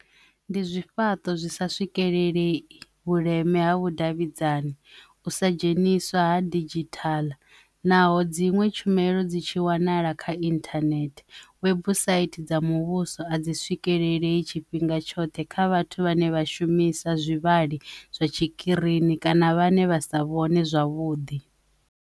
Ndi zwifhaṱo zwi sa swikelele vhuleme ha vhudavhidzani u sa dzheniswa ha didzhithala naho dziṅwe tshumelo dzi tshi wanala kha internet webusaithi dza muvhuso a dzi swikelele i tshifhinga tshoṱhe kha vhathu vhane vha shumisa zwivhali zwa tshikirini kana vhane vha sa vhone zwavhuḓi.